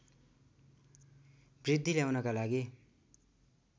वृद्धि ल्याउनका लागि